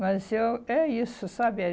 Mas eu é isso, sabe?